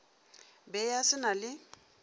be a se na le